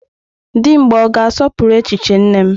Dimgba ọ ga-asọpụrụ echiche nne m?